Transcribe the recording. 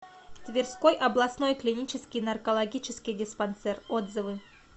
тверской областной клинический наркологический диспансер отзывы